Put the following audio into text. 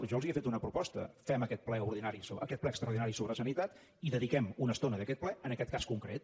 jo els he fet una proposta fem aquest ple extraordinari sobre sanitat i dediquem una estona d’aquest ple a aquest cas concret